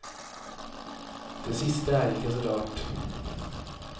Det siste er ikke så rart.